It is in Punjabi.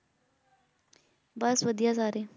ਬਸ ਵਧੀਆ ਸਾਰੇ।